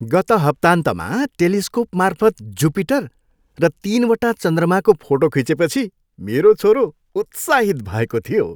गत हप्ताहन्तमा टेलिस्कोपमार्फत जुपिटर र तिनवटा चन्द्रमाको फोटो खिचेपछि मेरो छोरो उत्साहित भएको थियो।